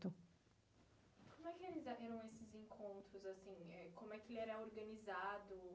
Como é que era esses encontros assim, como que que ele era organizado?